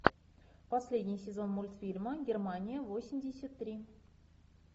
последний сезон мультфильма германия восемьдесят три